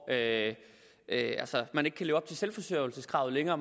at at man ikke kan leve op til selve forsørgelseskravet længere og